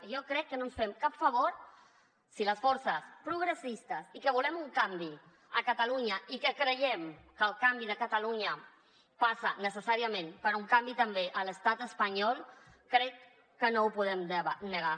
i jo crec que no ens fem cap favor si les forces progressistes i que volem un canvi a catalunya i que creiem que el canvi de catalunya passa necessàriament per un canvi també a l’estat espanyol crec que no ho podem negar